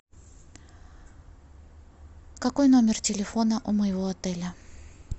какой номер телефона у моего отеля